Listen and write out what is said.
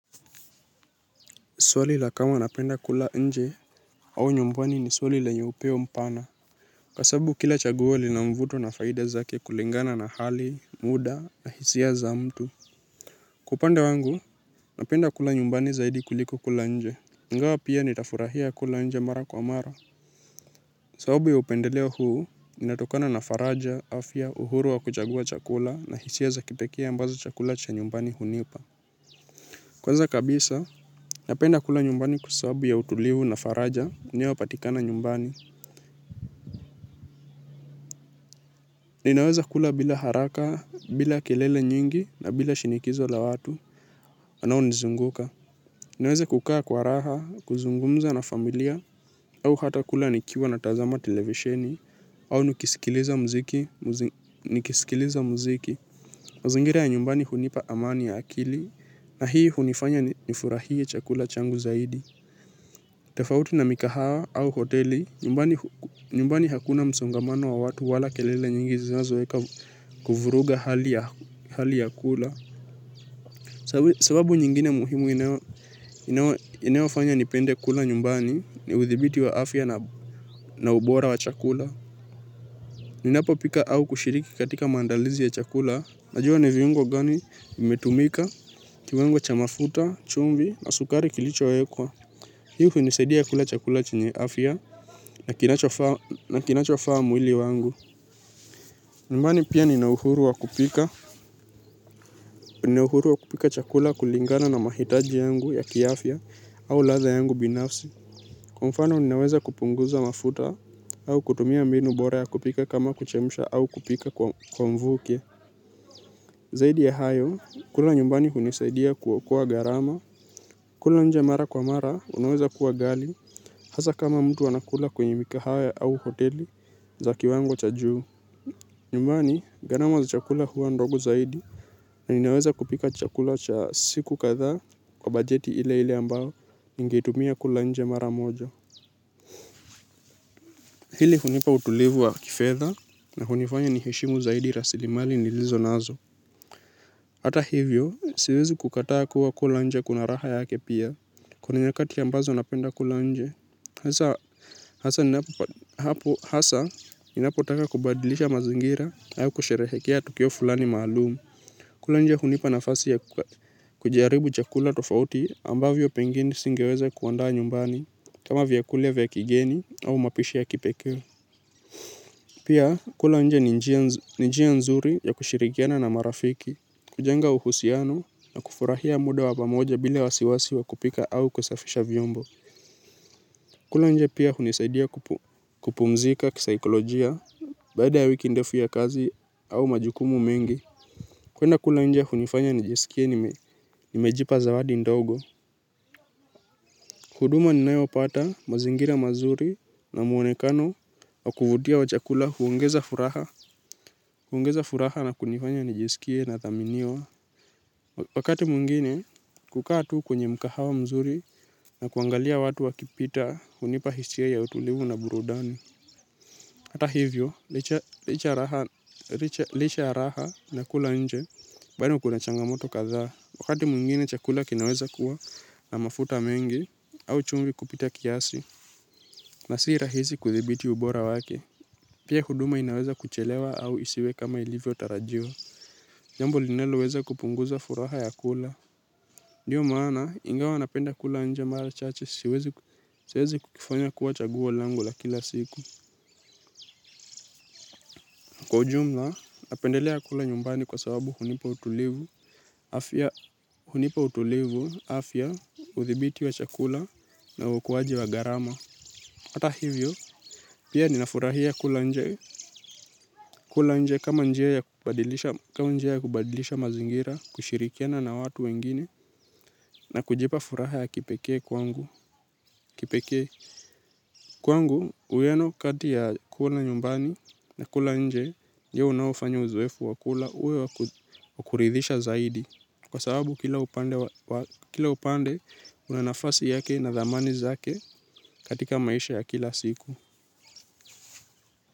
Swali la kama napenda kula nje au nyumbani ni swali lenye upeo mpana kwa sababu kila chaguo lina mvuto na faida zake kulingana na hali, muda na hisia za mtu. Kwa upande wangu napenda kula nyumbani zaidi kuliko kula nje. Ingawa pia nitafurahia kula nje mara kwa mara. Sababu ya upendeleo huu inatokana na faraja, afya, uhuru wa kuchagua chakula na hisia za kipekee ambazo chakula cha nyumbani hunipa. Kwanza kabisa, napenda kula nyumbani kwa sababu ya utulivu na faraja, inayopatikana nyumbani. Ninaweza kula bila haraka, bila kelele nyingi, na bila shinikizo la watu wanaonizunguka. Ninaweza kukaa kwa raha, kuzungumza na familia, au hata kula nikiwa natazama televisheni, au nikisikiliza muziki. Mazingira ya nyumbani hunipa amani ya akili, na hii hunifanya nifurahie chakula changu zaidi. Tofauti na mikahawa au hoteli, nyumbani hakuna msongamano wa watu wala kelele nyingi zinazoeka kuvuruga hali ya kula. Sababu nyingine muhimu inayofanya nipende kula nyumbani ni uthibiti wa afya na ubora wa chakula. Ninapopika au kushiriki katika maandalizi ya chakula. Najua ni viungo gani vimetumika, kiwango cha mafuta, chumvi na sukari kilichowekwa. Hii hunisadia kula chakula chenye afya na kinachofaa na kinachofaa mwili wangu. Nyumbani pia ninayuhuruwa kupika, nina uhuru wa kupika chakula kulingana na mahitaji yangu ya kiafya au ladha yangu binafsi. Kwa mfano ninaweza kupunguza mafuta au kutumia mbinu bora ya kupika kama kuchemsha au kupika kwa mvuke. Zaidi ya hayo, kula nyumbani hunisaidia kuokoa gharama. Kula nje mara kwa mara, unaweza kuwa ghali. Hasa kama mtu anakula kwenye mikahawa au hoteli za kiwango cha juu. Nyumbani, gharama za chakula huwa ndogo zaidi na ninaweza kupika chakula cha siku kadhaa kwa bajeti ile ile ambao ningeitumia kula nje mara moja. Hili hunipa utulivu wa kifedha na hunifanya niheshimu zaidi rasilimali nilizo nazo. Hata hivyo, siwezi kukataa kuwa kula nje kuna raha yake pia. Kuna nyakati ambazo napenda kula nje. Hasa, hasa ninapotaka kubadilisha mazingira, au kusherehekea tukio fulani maalum. Kula nje hunipa nafasi ya kujaribu chakula tofauti ambavyo pengine singeweza kuandaa nyumbani. Kama vyakula vya kigeni au mapishi ya kipekee. Pia kula nje ni njia nzuri ya kushirikiana na marafiki, kujenga uhusiano na kufurahia muda wa pamoja bila wasiwasi wa kupika au kusafisha vyombo. Kula nje pia hunisaidia kupumzika kisaikolojia. Baada ya wiki ndefu ya kazi au majukumu mengi. Kuenda kula nje hunifanya nijisikie nimejipa zawadi ndogo. Huduma ninayopata, mazingira mazuri na mwonekano wa kuvutia wa chakula huongeza furaha. Huongeza furaha na kunifanya nijisikie nathaminiwa. Wakati mwingine kukaa tu kwenye mkahawa mzuri, na kuangalia watu wakipita hunipa hisia ya utulivu na burudani. Hata hivyo, licha ya raha na kula nje, bado kuna changamoto kadhaa. Wakati mwingine chakula kinaweza kuwa na mafuta mengi au chumvi kupita kiasi na si rahisi kuthibiti ubora wake. Pia huduma inaweza kuchelewa au isiwe kama ilivyotarajiwa. Jambo linaloweza kupunguza furaha ya kula. Ndio maana ingawa napenda kula nje mara chache siwezi kukifanya kuwa chaguo lango la kila siku. Kwa ujumla napendelea kula nyumbani kwa sababu hunipa utulivu. Afya, hunipa utulivu, afya, uthibiti wa chakula, na uokoaji wa gharama. Hata hivyo, pia ninafurahia kula nje, kula nje kama njia ya kubadilisha mazingira, kushirikiana na watu wengine, na kujipa furaha ya kipekee kwangu. Kipekee. Kwangu, uwiano kati ya kula nyumbani, na kula nje, ndio unaofanya uzoefu wa kula, uwe wa kuridhisha zaidi. Kwa sababu kila upande, una nafasi yake na thamani zake, katika maisha ya kila siku.